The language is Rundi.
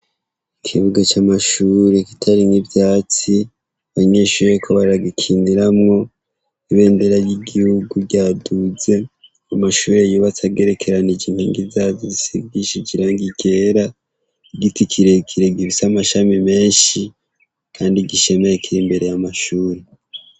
Ikibuga c' amashuri kitarimwo ivyatsi, abanyeshuri bariko baragikiniramwo, ibendera ry' igihugu ryaduze ; amashure yubatswe agerekeranije inkingi zazo zisigishije irangi ryera, igiti kirekire gifise amashami menshi, kandi gishemeye Kiri imbere y' amashure.